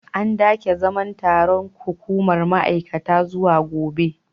An dage zaman taron hukumar ma’aikata zuwa gobe.